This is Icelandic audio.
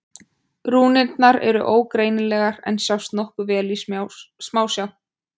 Rúnirnar eru ógreinilegar en sjást nokkuð vel í smásjá.